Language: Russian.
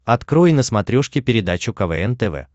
открой на смотрешке передачу квн тв